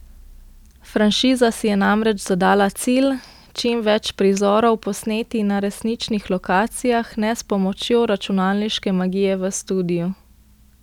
Franšiza si je namreč zadala cilj, čim več prizorov posneti na resničnih lokacijah, ne s pomočjo računalniške magije v studiu.